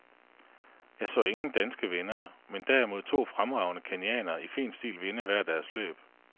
Jeg så ingen danske vindere, men derimod to fremragende kenyanere i fin stil vinde hver deres løb.